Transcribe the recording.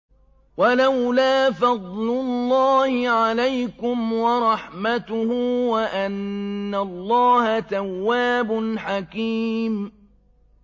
وَلَوْلَا فَضْلُ اللَّهِ عَلَيْكُمْ وَرَحْمَتُهُ وَأَنَّ اللَّهَ تَوَّابٌ حَكِيمٌ